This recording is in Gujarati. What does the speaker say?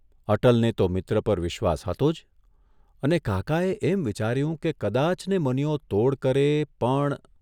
અટલને તો મિત્ર પર વિશ્વસ હતો જ અને કાકાએ એમ વિચાર્યું કે કદાચને મનીયો તોડ કરે પણ !